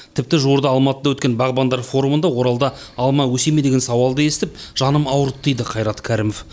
тіпті жуырда алматыда өткен бағбандар форумында оралда алма өсе ме деген сауалды естіп жаным ауырды дейді қайрат кәрімов